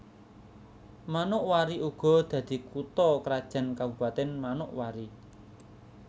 Manokwari uga dadi kutha krajan Kabupatèn Manokwari